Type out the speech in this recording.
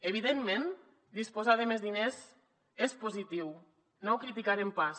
evidentment disposar de més diners és positiu no ho criticarem pas